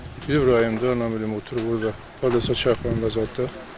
Bəli rayonda, mən bilmirəm oturub burda xarab olsa xarab olub zaddır.